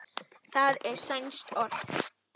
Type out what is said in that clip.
það er sænskt orð